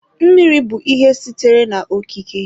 Mmiri bụ ihe sitere na-okike.